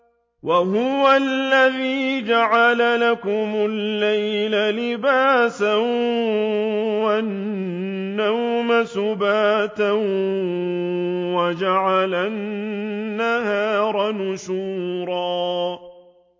وَهُوَ الَّذِي جَعَلَ لَكُمُ اللَّيْلَ لِبَاسًا وَالنَّوْمَ سُبَاتًا وَجَعَلَ النَّهَارَ نُشُورًا